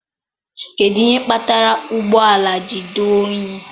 kedụ ihe kpatara ụgbọ ala ji dị unyi?